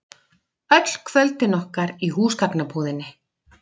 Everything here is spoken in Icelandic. Öll kvöldin okkar í húsgagnabúðinni.